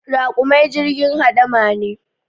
Raƙumai jirgin hamada ne